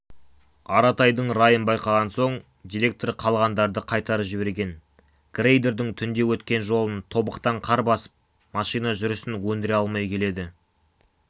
аратайдың райын байқаған соң директор қалғандарды қайтарып жіберген грейдердің түнде өткен жолын тобықтан қар басып машина жүрісін өндіре алмай келеді